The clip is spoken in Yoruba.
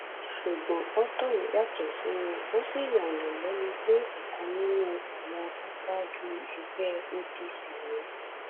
ṣùgbọn otorm yàtọ sí wọn ò sì yààyàn lẹnu pé ọkan nínú àwọn aṣáájú ẹgbẹ apc ni